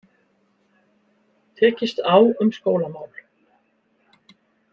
Tekist á um skólamál